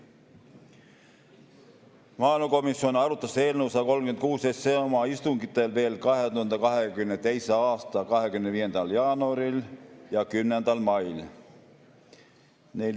Maaelukomisjon arutas eelnõu 136 oma istungitel veel 2022. aasta 25. jaanuaril ja 10. mail.